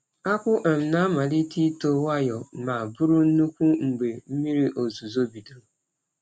Akpụ um na-amalite ito nwayọ, ma bụrụ nnukwu mgbe mmiri ozuzo bidoro.